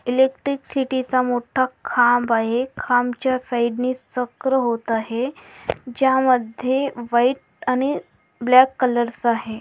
Electric city चा मोठा खांब आहे खांब च्या साइडनी चक्र होत आहे ज्या मध्ये व्हाइट आणि ब्लैक कलर चा आहे.